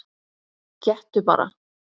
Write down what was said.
Gettu bara?